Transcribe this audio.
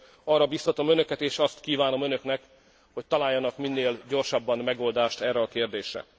Ezért arra biztatom önöket és azt kívánom önöknek, hogy találjanak minél gyorsabban megoldást erre a kérdésre.